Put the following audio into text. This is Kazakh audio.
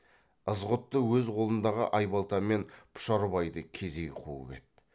ызғұтты өз қолындағы айбалтамен пұшарбайды кезей қуып еді